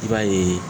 I b'a ye